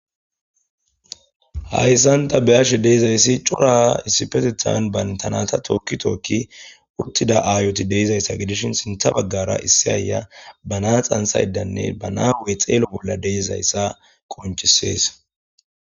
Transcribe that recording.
Haysani ta beyashe de'izasi cora issipetetan banta nata toki toki utida ayota de'izaysa gidishn sintha bagara issi ayiya ba na'a xanthaydanne ba na'a hu'e xeelo bolla de'izaysa qoncises.